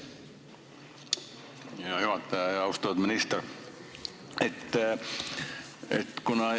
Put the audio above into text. Hea juhataja ja austatud minister!